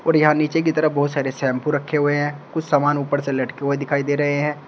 और यहां नीचे की तरफ बहुत सारे शैंपू रखें हुए हैं कुछ सामान ऊपर से लटके हुए दिखाई दे रहे हैं।